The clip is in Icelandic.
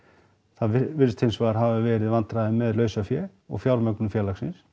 það virðast hins vegar hafa verið vandræði með lausafé og fjármögnun félagsins